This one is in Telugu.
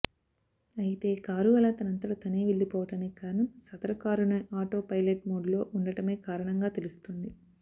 అయితే కారు అలా తనంతట తానే వెళ్లిపోవడానికి కారణం సదరు కారును ఆటోపైలట్ మోడ్ లో ఉండటమే కారణంగా తెలుస్తోంది